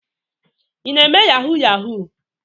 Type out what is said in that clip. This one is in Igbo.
Ị na-eme yahoo yahoo?